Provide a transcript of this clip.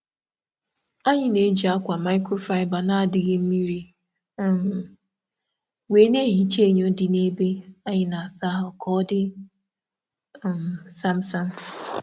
A na m eji ákwà microfiber asacha enyo ime ụlọ iji mee ka ọ bụrụ nke dị ọcha kpamkpam.